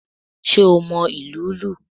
Sé o mo ìlù ú lù?